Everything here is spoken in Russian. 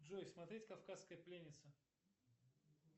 джой смотреть кавказская пленница